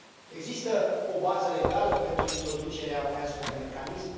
Există o bază legală pentru introducerea unui astfel de mecanism?